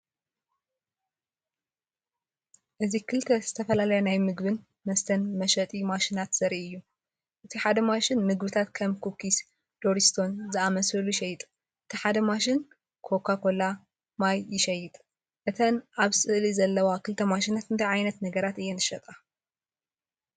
እዚ ክልተ ዝተፈላለያ ናይ ምግብን መስተን መሸጢ ማሽናት ዘርኢ እዩ። እቲ ሓደ ማሽን ምግብታትን ከም ኩኪስ፡ ዶሪቶስን ዝኣመሰሉ ይሸይጥ። እቲ ሓደ ማሽን ኮካ ኮላ፡ ማይን ይሸይጥ። እተን ኣብ ስእሊ ዘለዋ ክልተ ማሽናት እንታይ ዓይነት ነገራት እየን ዝሸጣ?